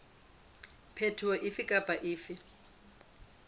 phetoho efe kapa efe e